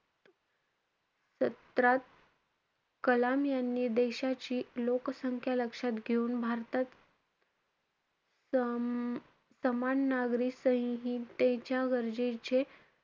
सत्रात कलाम यांनी देशाची लोकसंख्या लक्षात घेऊन भारतात स~ सामान नागरिक संहितेच्या गरजेचे,